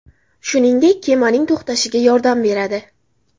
Shuningdek, kemaning to‘xtashiga yordam beradi.